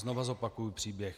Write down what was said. Znovu zopakuju příběh.